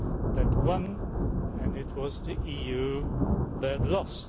that won, and it was the EU that lost.